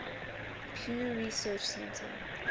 pew research center